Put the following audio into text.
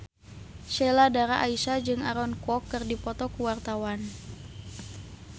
Sheila Dara Aisha jeung Aaron Kwok keur dipoto ku wartawan